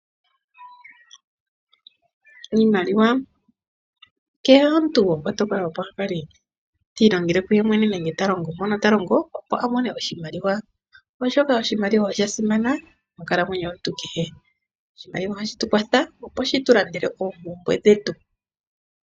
Iimaliwa Kehe omuntu gopakwato opo akale tiilongele kuye mwene nenge a kale mpono ta longo opo a mone oshimaliwa, oshoka oshimaliwa osha simana moonkalamwenyo yomuntu kehe. Oshimaliwa ohashi tu kwatha opo shitu landele oompumbwe dhetu.